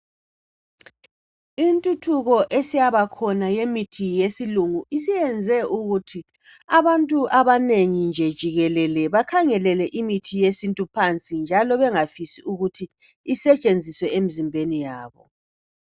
Intuthuko esayabakhona ebantwini jikelele isiyenze ukuthi abantu bankhangelele imithi yesintu phansi njalo bakhangelele ukungafuni ukuthi isetshenziswe emzimbeni yabo.